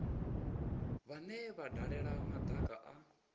vhane vha dalela madaka a